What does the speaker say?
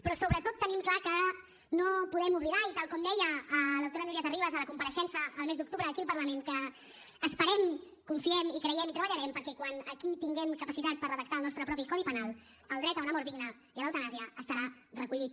però sobretot tenim clar que no podem oblidar i tal com deia l’autora núria terribas a la compareixença el mes d’octubre aquí al parlament esperem confiem i creiem i treballarem perquè quan aquí tinguem capacitat per redactar el nostre propi codi penal el dret a una mort digna i a l’eutanàsia estarà recollit